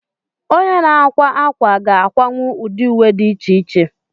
Onye na-akwa ákwà ga-akwanwu ụdị uwe dị iche iche.